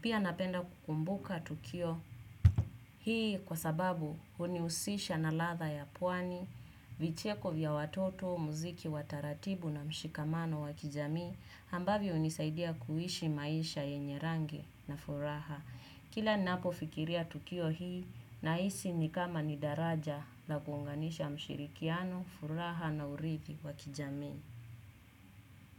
Pia napenda kukumbuka tukio hii kwa sababu hunihusisha na ladha ya pwani, vicheko vya watoto, muziki, wa taratibu na mshikamano wa kijamii ambavyo hunisaidia kuishi maisha yenye rangi na furaha. Kila ninapofikiria tukio hii naisi ni kama ni daraja na kuunganisha mshirikiano, furaha na uridhi wa kijamii.